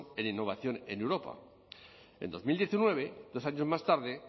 en innovación en europa en dos mil diecinueve dos años más tarde